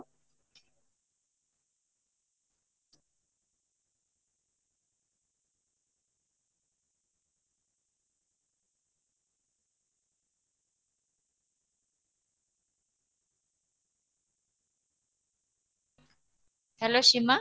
hello Sima